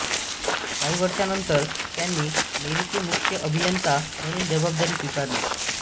काही वर्षांनंतर त्यांनी मेरीचे मुख्य अभियंता म्हणून जबाबदारी स्वीकारली